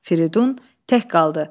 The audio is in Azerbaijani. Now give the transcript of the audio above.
Firidun tək qaldı.